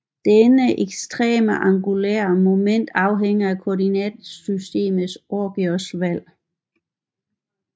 Denne eksterne angulær moment afhænger af koordinatsystemets origos valg